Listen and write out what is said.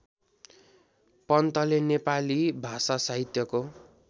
पन्तले नेपाली भाषासाहित्यको